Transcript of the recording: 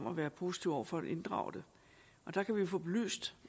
at være positiv over for at inddrage det der kan vi få belyst